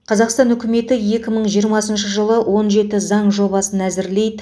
қазақстан үкіметі екі мың жиырмасыншы жылы он жеті заң жобасын әзірлейді